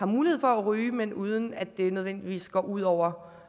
mulighed for at ryge men uden at det nødvendigvis går ud over